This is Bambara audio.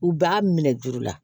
U b'a minɛ juru la